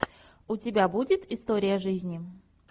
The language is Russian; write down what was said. у тебя будет история жизни